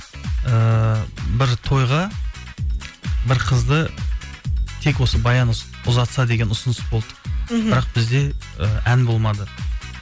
ііі бір тойға бір қызды тек осы баян ұзатса деген ұсыныс болды мхм бірақ бізде і ән болмады